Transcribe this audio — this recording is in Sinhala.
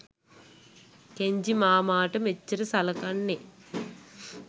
කෙන්ජි මාමට මෙච්චර සලකන්නේ.